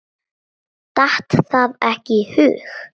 Datt það ekki í hug.